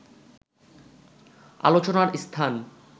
আলোচনার স্থান